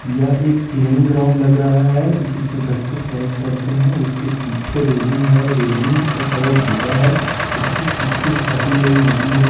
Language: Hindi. या एक प्लेइंग ग्राउंड लग रहा है जिसमें बच्चे स्लाइड करते हैं उसके पीछे रेलिंग है रेलिंग का कलर पीला है उसके पीछे एक काफी बड़ी नदी है।